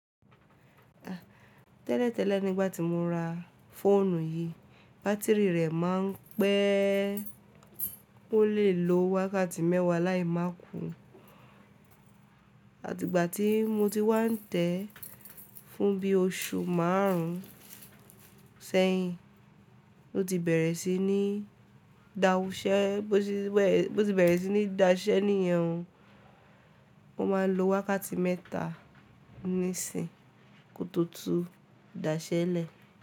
Tẹ́lẹ̀ tẹ́lẹ̀ nígbà tí mo ra fóònù yìí, bátìrì rẹ̀ máa ń pẹ́, ó lè lo wákàtí mẹ́wàá láì má kù. Àti ìgbà tí mo ti wá ń tẹ̀ ẹ́ fún bí oṣù márùn ún sẹ́yìn, ó ti bẹ̀rẹ̀ sí ní dáwù ṣẹ́, bó ti bẹ̀rẹ̀ sí ní daṣẹ́ níyen o. O máa n lo wákàtí mẹ́ta nísìnyí kó tó tún daṣẹ́ lẹ̀.